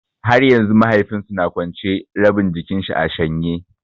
Har yanzu mahaifin su na kwance, rabin jikin shi a shanye.